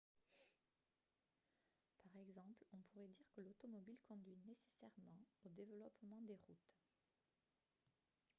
par exemple on pourrait dire que l'automobile conduit nécessairement au développement des routes